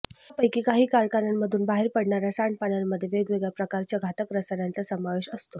यापैकी काही कारखान्यांमधून बाहेर पडणार्या सांडपाण्यामध्ये वेगवेगळ्या प्रकारच्या घातक रसायनांचा समावेश असतो